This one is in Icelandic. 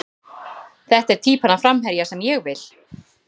Þetta er týpan af framherja sem ég vill.